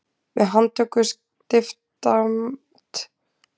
Með handtöku stiftamtmannsins hafði völdum verið rænt og landinu steypt í stjórnleysi.